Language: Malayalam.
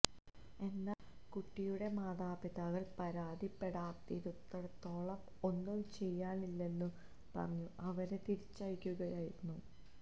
എന്നാൽ കുട്ടിയുടെ മാതാപിതാക്കൾ പരാതിപ്പെടാത്തിടത്തോളം ഒന്നും ചെയ്യാനില്ലെന്നു പറഞ്ഞു അവരെ തിരിച്ചയയ്ക്കുകയായിരുന്നു